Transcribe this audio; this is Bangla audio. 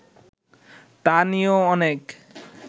তা নিয়েও অনেক